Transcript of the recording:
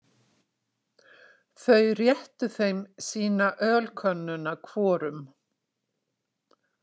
Þau réttu þeim sína ölkönnuna hvorum.